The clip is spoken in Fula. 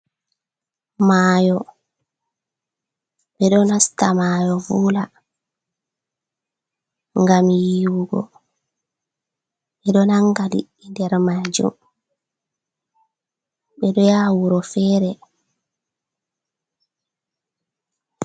Mayo, ɓe ɗo nasta Mayo vula ngam Yihugo.ɓe ɗo Nanga lidɗi der majum, ɓe ɗo yaha wuro fere.